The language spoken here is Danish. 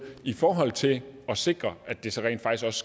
i forhold til at sikre at det så rent faktisk